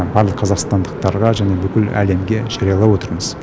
барлық қазақстандықтарға және бүкіл әлемге жариялап отырмыз